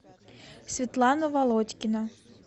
светлана володькина